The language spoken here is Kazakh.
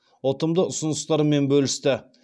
ұтымды ұсыныстарымен бөлісті